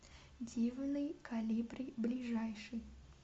дивный колибри ближайший